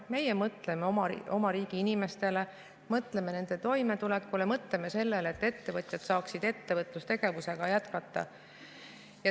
Meie mõtleme oma riigi inimestele, mõtleme nende toimetulekule, mõtleme sellele, et ettevõtjad saaksid ettevõtlustegevusega jätkata.